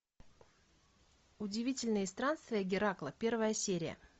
удивительные странствия геракла первая серия